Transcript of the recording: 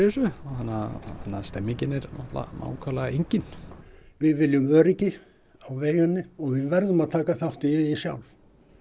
þessu þannig að stemningin er nákvæmlega engin við viljum öryggi á vegina og við verðum að taka þátt í því sjálf